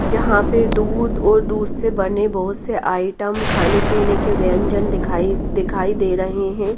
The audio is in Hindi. जहां पे दूध और दूध से बने बहोत से आइटम खाने पीने के व्यंजन दिखाई दिखाई दे रहे हैं।